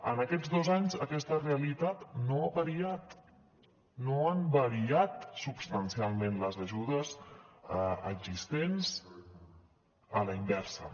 en aquests dos anys aquesta realitat no ha variat no han variat substancialment les ajudes existents a la inversa